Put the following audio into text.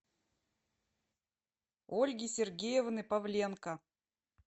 ольги сергеевны павленко